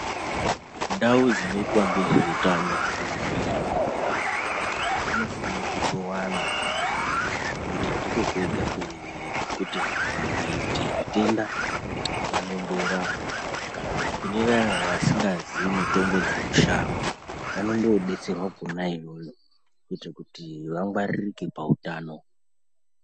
Ndau dzinoitwa ngezveutano kana kuti zvibhedhelera zvinofana kutowanda ngekuti ndiko kwega kwekuti vanthu vakaite zvitenda vanondorapwa kana kuti kune vaya vasingazii mitombo dzemushango vanondodetserwa kona iyoyo kuitira kuti vangwaririke pautano.